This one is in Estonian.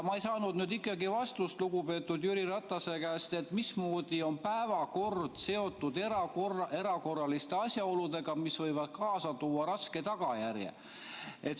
Ma ei saanud ikkagi vastust lugupeetud Jüri Ratase käest, mismoodi on päevakord seotud erakorraliste asjaoludega, mis võivad kaasa tuua raske tagajärje.